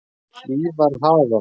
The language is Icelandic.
Hlíðarhaga